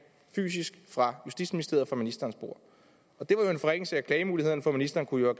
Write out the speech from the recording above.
fysisk fra justitsministeriet og fra ministerens bord og det var en forringelse af klagemulighederne for ministeren kunne jo